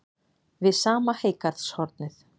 Við sama heygarðshornið